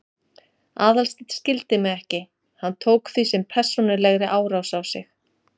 Aðalsteinn skildi mig ekki, hann tók því sem persónulegri árás á sig.